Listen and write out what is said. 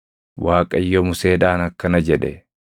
Waaqayyo Museedhaan akkana jedhe;